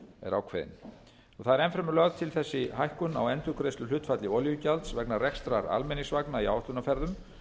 er ákveðin enn fremur er lögð til þessi hækkun á endurgreiðsluhlutfalli olíugjalds vegna rekstrar almenningsvagna í áætlunarferðum